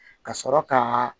Ka sɔrɔ ka